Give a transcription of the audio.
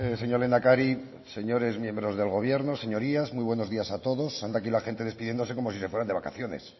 señor lehendakari señores miembros del gobierno señorías muy buenos días a todos anda aquí la gente despidiéndose como si se fueran de vacaciones